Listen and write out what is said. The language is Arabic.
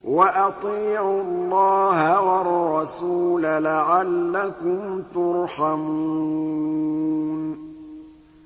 وَأَطِيعُوا اللَّهَ وَالرَّسُولَ لَعَلَّكُمْ تُرْحَمُونَ